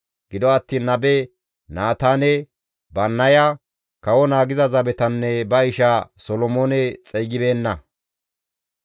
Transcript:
Gido attiin nabe Naataane, Bannaya, kawo naagiza zabetanne ba isha Solomoone xeygibeenna.